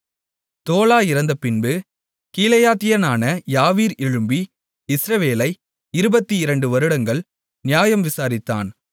தோலா இறந்தப் பின்பு கீலேயாத்தியனான யாவீர் எழும்பி இஸ்ரவேலை 22 வருடங்கள் நியாயம் விசாரித்தான்